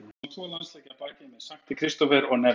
Hann á tvo landsleiki að baki með Sankti Kristófer og Nevis.